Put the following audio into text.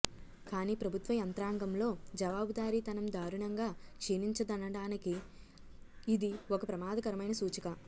కానీ ప్రభుత్వ యంత్రాంగంలో జవాబుదారీతనం దారుణంగా క్షీణించిందనడానికి ఇది ఒక ప్రమాదకరమైన సూచి క